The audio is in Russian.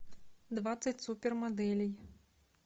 двадцать супер моделей